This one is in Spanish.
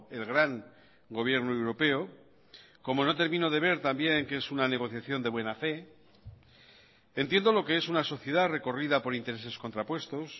el gran gobierno europeo como no termino de ver también qué es una negociación de buena fe entiendo lo que es una sociedad recorrida por intereses contrapuestos